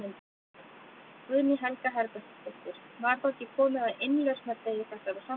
Guðný Helga Herbertsdóttir: Var þá ekki komið að innlausnardegi þessara samninga?